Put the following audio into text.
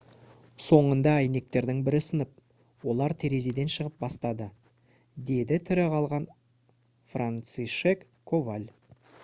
«соңында әйнектердің бірі сынып олар терезеден шығып бастады »- деді тірі қалған францишек коваль